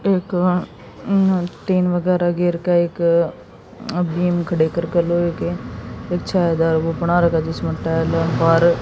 एक अह टीन वगैरह घेर के एक अह बीम खड़े करके लोहे के एक छायादार वो बना रखा जिसमें टायर पर--